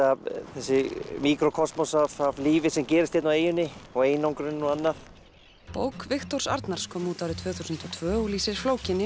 þessi míkrókosmos af lífi sem gerist hérna í eyjunni og einangrunin og annað bók Viktors Arnars kom út árið tvö þúsund og tvö og lýsir flókinni